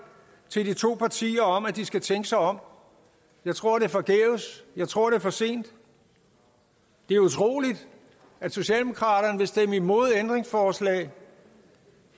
til de to partier om at de skal tænke sig om jeg tror det er forgæves jeg tror det er for sent det er utroligt at socialdemokraterne vil stemme imod ændringsforslag